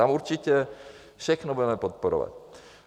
Tam určitě všechno budeme podporovat.